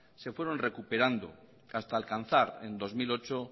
se fueron recuperando hasta alcanzar en dos mil ocho